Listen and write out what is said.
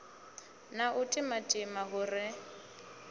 na u timatima hu re